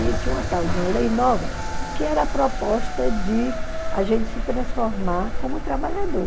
E tinha uma tal de uma lei nova que era a proposta de a gente se transformar como trabalhador.